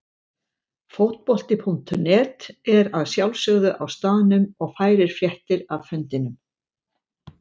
Fótbolti.net er að sjálfsögðu á staðnum og færir fréttir af fundinum.